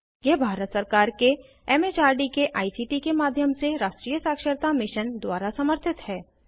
यह भारत सरकार के एम एच आर डी के आई सी टी के माध्यम से राष्ट्रीय साक्षरता मिशन द्वारा समर्थित है